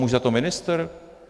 Může za to ministr?